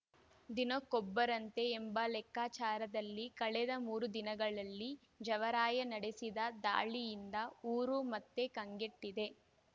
ದಿನಕ್ಕೊಬ್ಬರಂತೆ ಎಂಬ ಲೆಕ್ಕಾಚಾರದಲ್ಲಿ ಕಳೆದ ಮೂರು ದಿನಗಳಲ್ಲಿ ಜವರಾಯ ನಡೆಸಿದ ದಾಳಿಯಿಂದ ಊರು ಮತ್ತೆ ಕಂಗೆಟ್ಟಿದೆ